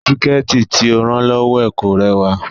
Síkẹ̀tí tí ó rán lọ́wọ́ ẹ̀ kò rẹwà